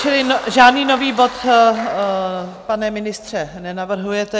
Čili žádný nový bod, pane ministře, nenavrhujete.